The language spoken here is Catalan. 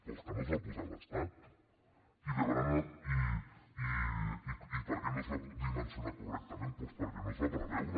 doncs que no els va posar l’estat i per què no es va dimensionar correctament doncs perquè no es va preveure